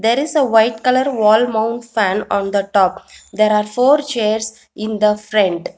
There is a white colour wall mount fan on the top there are four chairs in the front.